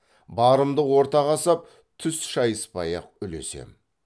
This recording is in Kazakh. барымды ортаға сап түс шайыспай ақ үлесем